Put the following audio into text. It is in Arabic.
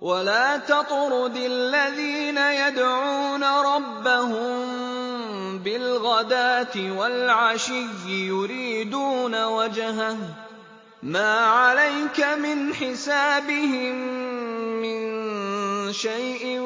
وَلَا تَطْرُدِ الَّذِينَ يَدْعُونَ رَبَّهُم بِالْغَدَاةِ وَالْعَشِيِّ يُرِيدُونَ وَجْهَهُ ۖ مَا عَلَيْكَ مِنْ حِسَابِهِم مِّن شَيْءٍ